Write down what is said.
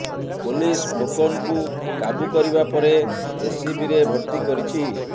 police ଖୋକନକୁ କାବୁ କରିବା ପରେ ଏସସିବିରେ ଭର୍ତ୍ତି କରିଛି